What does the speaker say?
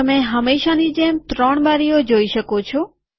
તમે હંમેશાની જેમ ત્રણ બારીઓ જોઈ શકો છો